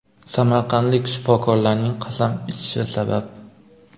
samarqandlik shifokorlarning qasam ichishi sabab .